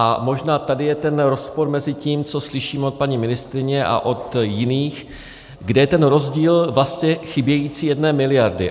A možná tady je ten rozpor mezi tím, co slyšíme od paní ministryně a od jiných, kde je ten rozdíl vlastně chybějící jedné miliardy.